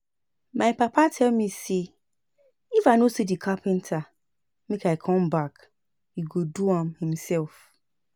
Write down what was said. My papa tell me say if I no see the carpenter make I come back he go do am himself